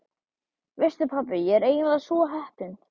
Veistu pabbi, ég er eiginlega svo heppin.